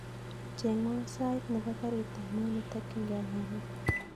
Chengwon sait nebo garit ab maat netokyingei nairobi